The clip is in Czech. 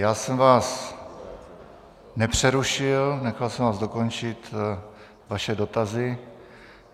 Já jsem vás nepřerušil, nechal jsem vás dokončit vaše dotazy.